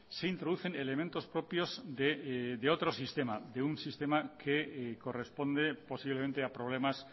se introducen elementos propios de otro sistema de un sistema que corresponde posiblemente a problemas